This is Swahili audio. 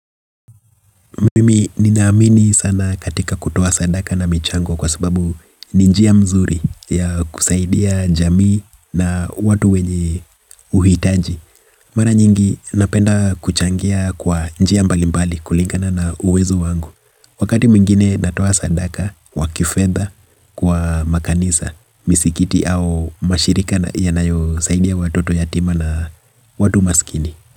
Mimi nina amini sana katika kutoa sadaka na michango kwa sababu ni njia mzuri ya kusaidia jamii na watu wenye uhitaji. Mara nyingi napenda kuchangia kwa njia mbalimbali kulingana na uwezo wangu. Wakati mwingine natoa sadaka wa kifedha kwa makanisa misikiti au mashirika ya nayo saidia watoto yatima na watu maskini.